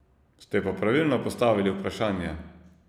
Ste pa pravilno postavili vprašanje.